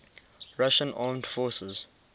russian armed forces